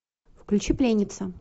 включи пленница